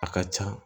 A ka ca